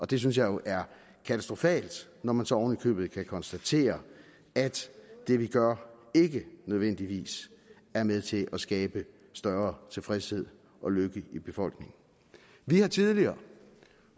det synes jeg er katastrofalt når man så oven i købet kan konstatere at det vi gør ikke nødvendigvis er med til at skabe større tilfredshed og lykke i befolkningen vi har tidligere